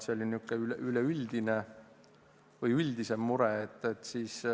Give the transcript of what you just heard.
See oli niisugune üldisem mure.